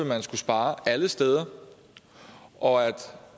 man skulle spare alle steder og